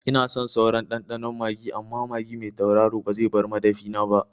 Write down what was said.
Ina son sauran ɗanɗano magi amma magi mai tauraro ba zai bar madafina ba